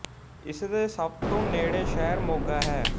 ਇਸ ਦੇ ਸਭ ਤੋਂ ਨੇੜ੍ਹੇ ਸ਼ਹਿਰ ਮੋਗਾ ਹੈ